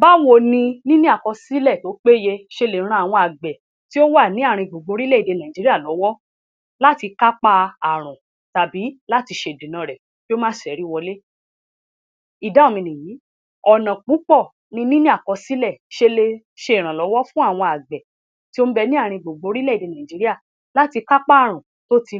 Báwo ni níní àkọsílẹ̀ tó péye ṣe lè ran àwọn àgbẹ̀ tí ó wà ní ààrin-gbùngbùn orílẹ̀-èdè Nàìjíríà lọ́wọ́ láti kápá ààrùn tàbí láti ṣe ìdènà rẹ̀ kí ó má ṣẹ́rí wọlé? Ìdáhùn mi nìyí. Ọ̀nà púpọ̀ ni níní àkọsílẹ̀ ṣe le ṣe ìrànlọ́wọ́ fún àwọn àgbẹ̀ tí ó ń bẹ ní ààrin-gbùngbùn orílẹ̀-èdè Nàìjíríà láti kápá ààrùn tó ti